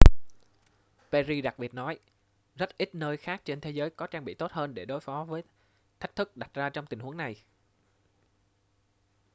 perry đặc biệt nói rất ít nơi khác trên thế giới có trang bị tốt hơn để đối phó với thách thức đặt ra trong tình huống này